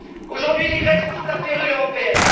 Aujourd'hui, les Grecs sont sous la férule européenne.